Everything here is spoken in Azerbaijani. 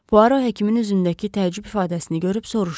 Puaro həkimin üzündəki təəccüb ifadəsini görüb soruşdu.